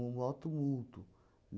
um mó tumulto